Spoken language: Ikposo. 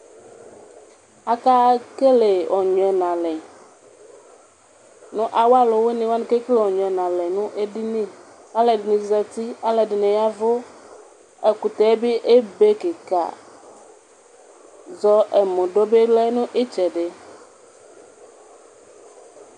Akekele ɔnyuɛ nʋ alɛ, nʋ awv alʋwini wani kekelevɔnyuɛ nʋ alɛ nʋ edini Kʋ alʋɛdini zati, alʋɛdini ya ɛvʋ ɛkʋtɛbi ebe kika Zɔɛmʋdʋ bilɛnʋ itsɛdi